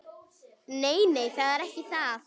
Nei, nei, það er ekki það.